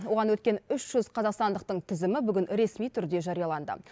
оған өткен үш жүз қазақстандықтың тізімі бүгін ресми түрде жарияланды